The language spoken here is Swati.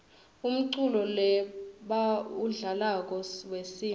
umculo lebawudlalako wesintfu